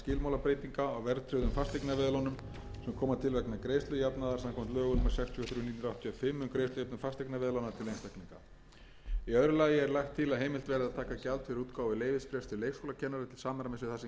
og þrjú nítján hundruð áttatíu og fimm um greiðslujöfnun fasteignaveðlána til einstaklinga í öðru lagi er lagt til að heimilt verði að taka gjald fyrir útgáfu leyfisbréfs til leikskólakennara til samræmis við það sem gert er við útgáfu leyfisbréfs til grunnskóla